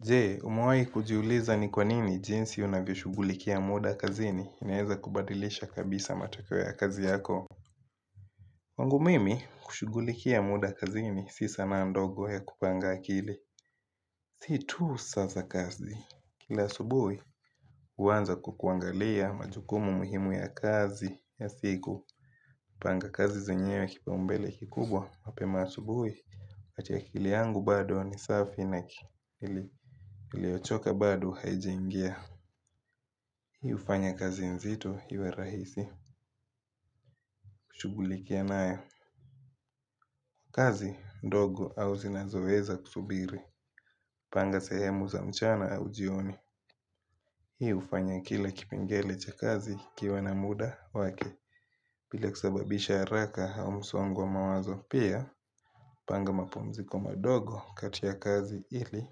Je umewahi kujiuliza ni kwa nini jinsi unavyo shughulikia muda kazini inaweza kubadilisha matokeo ya kazi yako. Kwangu mimi, kushugulikia muda kazini si sanaa ndogo ya kupanga akili. Si tu sasa kazi. Kila asubuhi, huanza kwa kuangalia majukumu muhimu ya kazi ya siku. Panga kazi zenyewe kipa umbele kikubwa, mapema asubuhi. Ati akili yangu bado ni safi na akili iliyochoka bado haijingia. Hii hufanya kazi nzito iwe rahisi kushughulikia nayo. Kazi ndogo au zinazoweza kusubiri. Panga sehemu za mchana au jioni. Hii hufanya kila kipengele cha kazi kiwe na muda wake bila kusababisha haraka au msongo wa mawazo pia. Panga mapumziko madogo kati ya kazi ili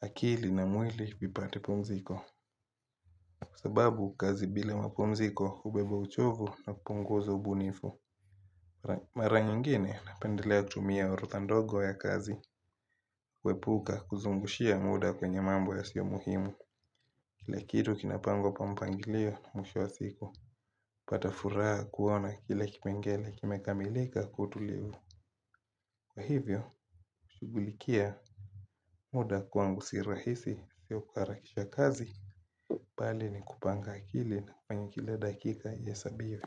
akili na mwili vipate pumziko. Sababu kazi bila mapumziko hubeba uchovu na kupunguza ubunifu. Mara nyingine napendelea kutumia orodha ndogo ya kazi. Kuepuka kuzungushia muda kwenye mambo ya sio muhimu. Kila kitu kinapangwa kwa mpangilio mwisho wa siku. Pata furaha kuona kile kipengele kime kamilika kwa utulivu. Kwa hivyo, shughulikia. Muda kwangu si rahisi sio kuharakisha kazi bali ni kupanga akili na kwenye kila dakika ihesabiwe.